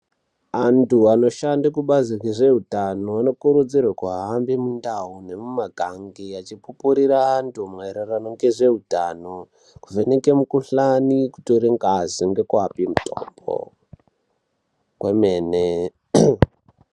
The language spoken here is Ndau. Antu anoshanda kubasi rezvehutano kukurudzirwa kuhamba mundau nemuma gange achikurira antu kuraramisa hutano kuvheneka mukuhlani kutora ngazi nekuvapa mitombo kwemene.